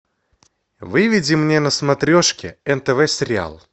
выведи мне на смотрешке нтв сериал